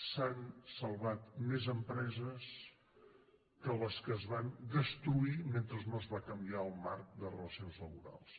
s’han salvat més empreses que les que es van destruir mentre no es va canviar el marc de relacions laborals